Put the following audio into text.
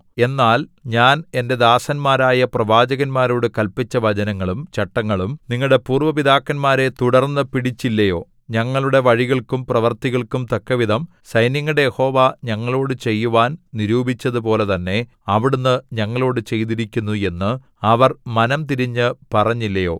എന്നാൽ ഞാൻ എന്റെ ദാസന്മാരായ പ്രവാചകന്മാരോട് കല്പിച്ച വചനങ്ങളും ചട്ടങ്ങളും നിങ്ങളുടെ പൂര്‍വ പിതാക്കന്മാരെ തുടർന്നുപിടിച്ചില്ലയോ ഞങ്ങളുടെ വഴികൾക്കും പ്രവൃത്തികൾക്കും തക്കവിധം സൈന്യങ്ങളുടെ യഹോവ ഞങ്ങളോടു ചെയ്‌വാൻ നിരൂപിച്ചതുപോലെ തന്നെ അവിടുന്ന് ഞങ്ങളോടു ചെയ്തിരിക്കുന്നു എന്ന് അവർ മനംതിരിഞ്ഞു പറഞ്ഞില്ലയോ